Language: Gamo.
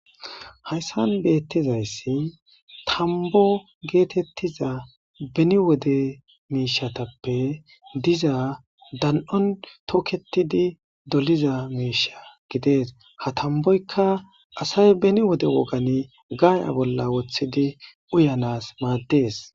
Hayssan bettizayssi tambbo getettiz beeni wode miishshatappe diza dan'ion tookettidi dolliza miishsha gides ha tambboykka kaase beni wode wooggangaaya bolla woththidi uuyanas maades